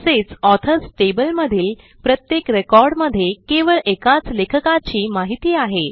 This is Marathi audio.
तसेच ऑथर्स टेबल मधील प्रत्येक रेकॉर्डमध्ये केवळ एकाच लेखकाची माहिती आहे